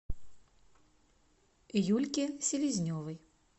юльке селезневой